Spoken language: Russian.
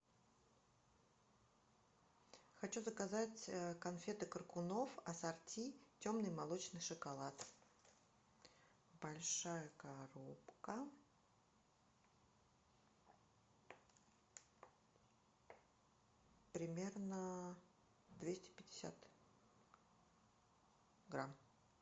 хочу заказать конфеты коркунов ассорти темный молочный шоколад большая коробка примерно двести пятьдесят грамм